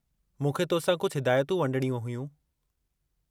मूंखे तोसां कुझु हिदायतूं वंडिणियूं हुयूं।